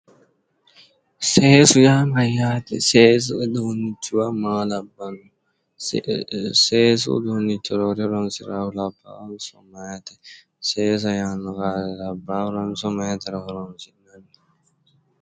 Seesu yaa mayyaate? seesu uduunnichuwa maa labbanno? seesu uduunnicho horonsiraahu labbaahonso meyaate? seesa meyaateranso labbaahura loonsoonni?